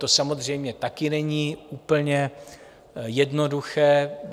To samozřejmě také není úplně jednoduché.